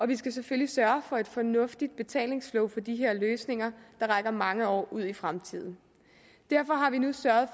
vi skal selvfølgelig sørge for et fornuftigt betalingsflow for de her løsninger der rækker mange år ud i fremtiden derfor har vi nu sørget